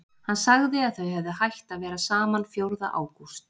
Hann sagði að þau hefðu hætt að vera saman fjórða ágúst.